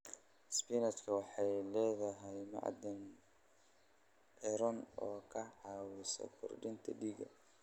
Isbinaashka waxay leedahay macdan iron oo ka caawisa kordhinta dhiigga.